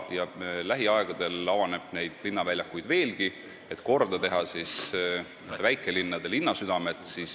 Lähiaegadel avaneb neid linnaväljakuid veelgi ja tehakse korda väikelinnade linnasüdamed.